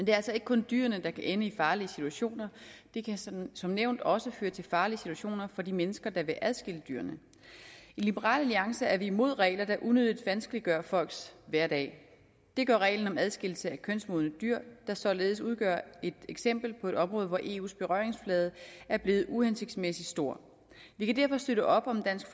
er altså ikke kun dyrene der kan ende i farlige situationer det kan som som nævnt også føre til farlige situationer for de mennesker der vil adskille dyrene i liberal alliance er vi imod regler der unødigt vanskeliggør folks hverdag det gør reglen om adskillelse af kønsmodne dyr der således udgør et eksempel på et område hvor eus berøringsflade er blevet uhensigtsmæssig stor vi kan derfor støtte op om dansk